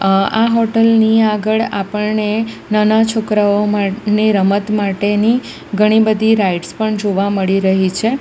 અહ આ હોટલની આગળ આપણને નાના છોકરાઓ મા ને રમત માટેની ઘણી બધી રાઇડ્સ પણ જોવા મળી રહી છે.